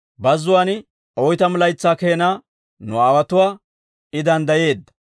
Bazzuwaan oytamu laytsaa keenaa nu aawotuwaa I danddayeedda.